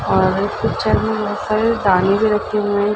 और कुछ दाने भी रखे हुए है।